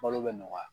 Balo bɛ nɔgɔya